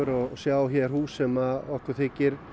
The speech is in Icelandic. og sjá hér hús sem að okkur þykir